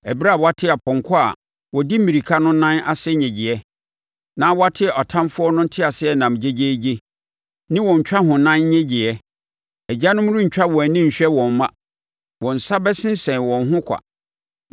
ɛberɛ a wɔate apɔnkɔ a wɔdi mmirika no nan ase nnyegyeɛ, na wɔate atamfoɔ no nteaseɛnam gyegyeegye ne wɔn ntwahonan nnyegyeɛ. Agyanom rentwa wɔn ani nhwɛ wɔn mma; wɔn nsa bɛsensɛn wɔn ho kwa.